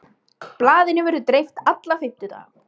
Blaðinu verður dreift alla fimmtudaga